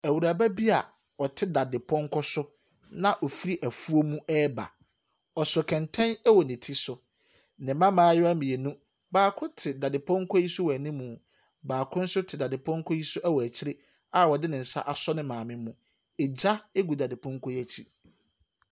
Ewuraba bia ɔte dadepɔnkɔ so a ɔfiri ɛfuom mu reba. Ɔso kɛnten ɛwɔ ne ti so. Ne mma mmayewa mmienu. Baako te dadepɔnkɔ so wɔ ɛnimmu. Baako nso te dadepɔnkɔ so wɔ akyire a ɔde ne nsa asɔ ne maame mu. Egya egu dadepɔnkɔ no ɛkyi.